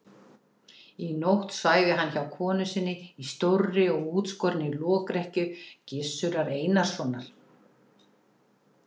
Í nótt svæfi hann hjá konu sinni í stórri og útskorinni lokrekkju Gizurar Einarssonar.